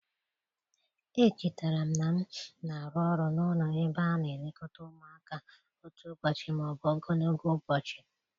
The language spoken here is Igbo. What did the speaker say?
Echetara m na m na-arụ ọrụ n'ụlọ ebe a na-elekọta ụmụaka otu ụbọchị ma ọ bụ ogologo ụbọchị